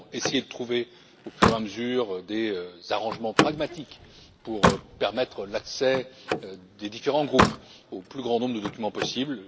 Nous avons essayé de trouver au fur et à mesure des arrangements pragmatiques pour permettre l'accès des différents groupes au plus grand nombre de documents possible.